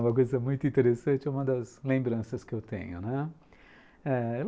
Uma coisa muito interessante, é uma das lembranças que eu tenho, né? ãh...